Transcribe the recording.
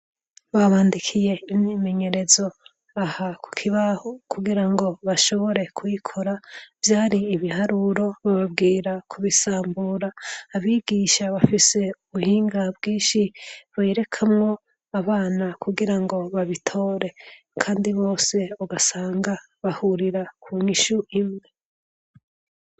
Babandikiye imyimenyerezo aha ku kibaho kugira ngo bashobore kuyikora. Vyari ibiharuro bababwira kubisambura. Abigisha bafise ubuhinga bwishi bavyerekamwo abana kugira ngo babitore kandi bose ugasanga bahurira ku nyishu imwe.